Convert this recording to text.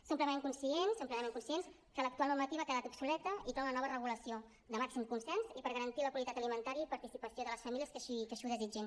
som plenament conscients som plenament conscients que l’actual normativa ha quedat obsoleta i cal una nova regulació de màxim consens i per garantir la qualitat alimentària i participació de les famílies que així ho desitgin